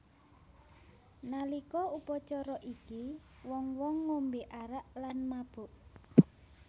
Nalika upacara iki wong wong ngombe arak lan mabuk